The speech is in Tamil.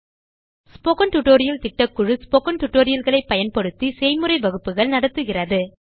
ஸ்போக்கன் டியூட்டோரியல் திட்டக்குழு ஸ்போக்கன் டியூட்டோரியல் களை பயன்படுத்தி செய்முறை வகுப்புகள் நடத்துகிறது